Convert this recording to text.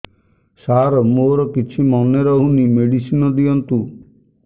ସାର ମୋର କିଛି ମନେ ରହୁନି ମେଡିସିନ ଦିଅନ୍ତୁ